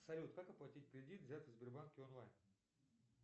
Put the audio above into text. салют как оплатить кредит взятый в сбербанке онлайн